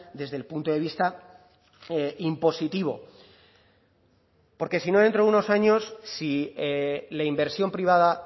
desde el punto de vista impositivo porque si no dentro de uno años si la inversión privada